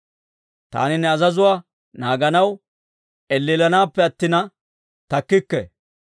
Taani ne azazuwaa naaganaw, elleellanaappe attina takkikke.